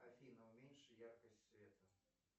афина уменьши яркость света